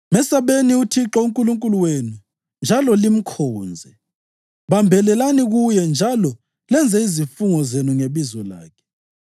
Mesabeni uThixo uNkulunkulu wenu njalo limkhonze. Bambelelani kuye njalo lenze izifungo zenu ngebizo lakhe.